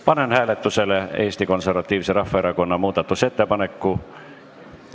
Panen hääletusele Eesti Konservatiivse Rahvaerakonna muudatusettepaneku.